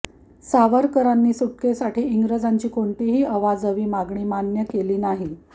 सावरकरांनी सुटकेसाठी इंग्रजांची कोणतीही अवाजवी मागणी मान्य केली नाही